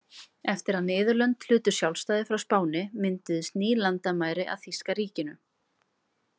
Eftir að Niðurlönd hlutu sjálfstæði frá Spáni, mynduðust ný landamæri að þýska ríkinu.